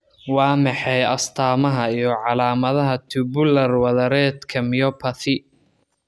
Waa maxay astamaha iyo calaamadaha Tubular wadareedka myopathy?